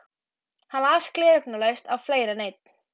Hún las gleraugnalaust á fleiri en einn